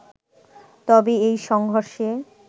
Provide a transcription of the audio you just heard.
তবে এই সংঘর্ষে